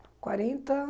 quarenta...